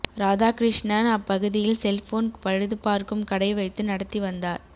ராதாகிருஷ்ணன் அப்பகுதியில் செல்போன் பழுது பார்க்கும் கடை வைத்து நடத்தி வந்தார